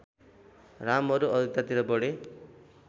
रामहरू अयोध्यातिर बढे